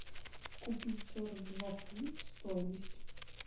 купить сорок два фунта стоимость